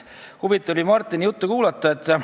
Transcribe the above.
Huvitav oli Martini juttu kuulata.